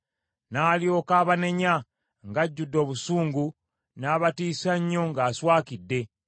N’alyoka abanenya ng’ajjudde obusungu, n’abatiisa nnyo ng’aswakidde.